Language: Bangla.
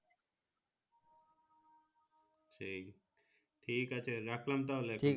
সেই ঠিক আছে রাখলাম তাহলে ।